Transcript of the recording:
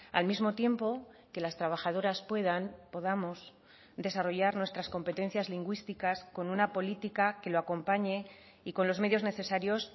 al mismo tiempo que las trabajadoras puedan podamos desarrollar nuestras competencias lingüísticas con una política que lo acompañe y con los medios necesarios